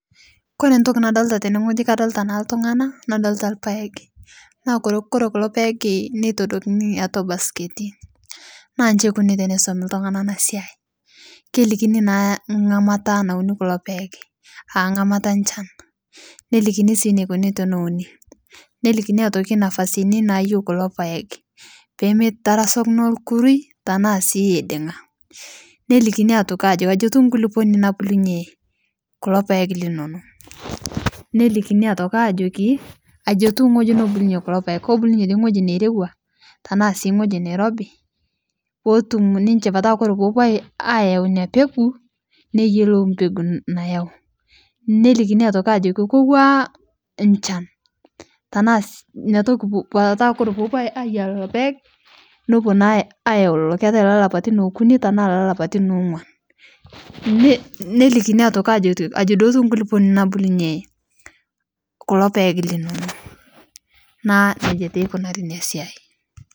Kore ntoki nadolita tenee kadolitaa naa ltung'ana nadolita lpaeg naa Kore kulo paeg neitodikini atua basketii naa nchi eikoni teneisomi ltung'ana ana siai kelikini naa ng'amata naunii kuloo paeg aa ng'amata enchan nelikini sii neikoni teneuni, nelikini atoki nafasini nayeu kulo paeg pemeitarasakino lkurui tanaa sii eiding'a nelikini otoki ajokii ajii etuu nkuliponii nabulunyee kulo paeg linono nelikini otoki ajokii ajii etuu ng'oji nobulunye kulo paeg kobulunye dei ng'oji neirewaa tanaa sii ng'oji neirobii pootum ninshe petaa Kore poopuo ayeu inia pekuu neyelou mpekuu nayeu nelikinii otokii ajoki kowaa nchan petaa koree poopuo aiyaa leloo paeg nopuo naa ayau lolo. Keatai lelapatin okunii tanaa lelapatin ong'uan nelikini otoki ajokii ajii dei etuu nkuliponii nabulunyee kulo paeg linono naaku nejaa taa eikunari inia siai.